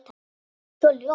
Svo ljótt.